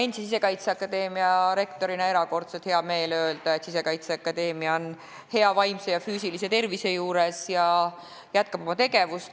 Mul on Sisekaitseakadeemia endise rektorina erakordselt hea meel öelda, et Sisekaitseakadeemia on hea vaimse ja füüsilise tervise juures ja jätkab oma tegevust.